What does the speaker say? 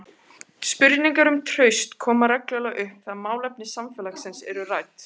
Spurningar um traust koma reglulega upp þegar málefni samfélagsins eru rædd.